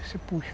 Você puxa.